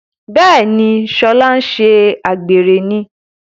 Béèni ṣe Shola nṣe àgbèrè ní.